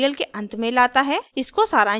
यह हमें इस tutorial के अंत में लाता है